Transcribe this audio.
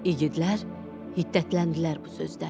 İgidlər hiddətləndilər bu sözdən.